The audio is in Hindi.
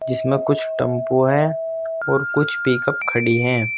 जिसमें कुछ टम्पू हैं और कुछ पिक अप खड़ी हैं।